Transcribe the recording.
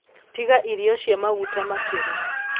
Tiga irio cia maguta makĩru